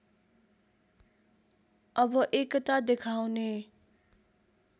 अब एकता देखाउने